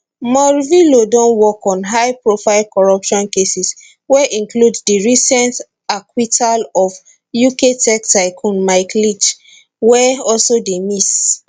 morvillo don work on high profile corruption cases wey include di recent acquittal of uk tech tycoon mike lynch wey also dey miss